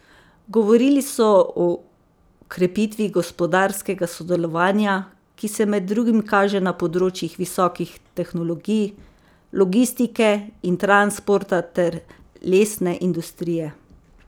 Govorili so o krepitvi gospodarskega sodelovanja, ki se med drugim kaže na področjih visokih tehnologij, logistike in transporta ter lesne industrije.